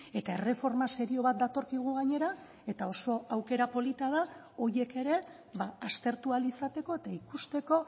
eta erreforma serio bat datorkigu gainera eta oso aukera polita da horiek ere aztertu ahal izateko eta ikusteko